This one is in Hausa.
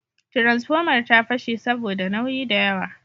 Tiransfomar ta fashe saboda nauyi da yawa